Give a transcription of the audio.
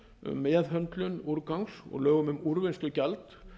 um meðhöndlun úrgangs og lögum um úrvinnslugjald